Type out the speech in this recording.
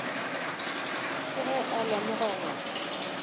ke ge a lemoga gore